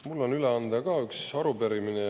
Mul on üle anda üks arupärimine.